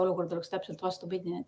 Olukord oleks täpselt vastupidine.